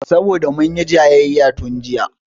Saboda munyi jayayya tun jiya